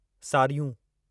सार्यूं